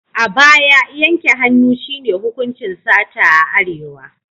A baya, yanke hannu shi ne hukuncin sata a Arewa.